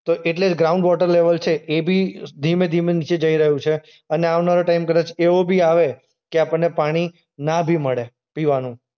તો એટલે જે ગ્રાઉન્ડ વોટર લેવલ છે એ બી ધીમે-ધીમે નીચે જઈ રહ્યું છે અને આવનારો ટાઈમ કદાચ એવો બી આવે કે આપણને પાણી ના બી મળે પીવાનું.